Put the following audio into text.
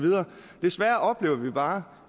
fra